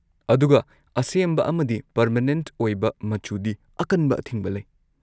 ꯑꯗꯨꯒ, ꯑꯁꯦꯝꯕ ꯑꯃꯗꯤ ꯄꯔꯃꯅꯦꯟꯠ ꯑꯣꯏꯕ ꯃꯆꯨꯗꯤ ꯑꯀꯟꯕ ꯑꯊꯤꯡꯕ ꯂꯩ꯫